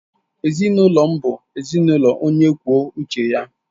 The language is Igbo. Ezinụlọ m bụ ezinụlọ onye kwuo uche ya.